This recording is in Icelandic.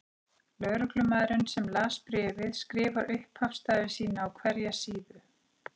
Lögreglumaðurinn sem las bréfið skrifar upphafsstafi sína á hverja síðu.